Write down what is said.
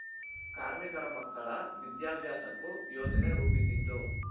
ಕಾರ್ಮಿಕರ ಮಕ್ಕಳ ವಿದ್ಯಾಭ್ಯಾಸಕ್ಕೂ ಯೋಜನೆ ರೂಪಿಸಿದ್ದು